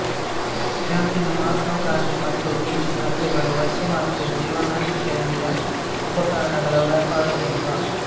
ಕ್ಯಾಂಪಿನ ಮಹಾತ್ಮಾ ಗಾಂಧಿ ಮತ್ತು ಈಸ್ಟ್ ರಸ್ತೆಗಳು ಪಾಶ್ಚಿಮಾತ್ಯ ಜೀವನಶಯಲಿಯ ಉಪಕರಣಗಳ ವ್ಯಾಪಾರಕೆಂದ್ರ